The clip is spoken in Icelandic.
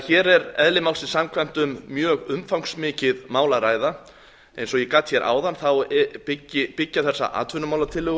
hér er eðli málsins samkvæmt um mjög umfangsmikið mál að ræða eins og ég gat um áðan þá byggja þessar atvinnumálatillögur